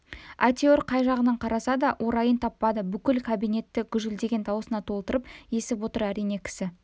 әйтеуір қай жағынан қараса да орайын таппады бүкіл кабинетті гүжілдеген даусына толтырып есіп отыр әрине кісі